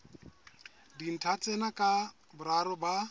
dintlha tsena ka boraro ba